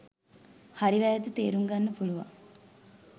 හරි වැරැද්ද තේරුම් ගන්න පුළුවන්